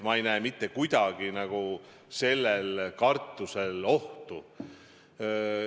Ma ei näe mitte kuidagi sellel kartusel alust.